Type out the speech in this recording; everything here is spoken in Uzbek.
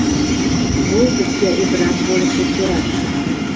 Bu bizga ibrat bo‘lishi kerak.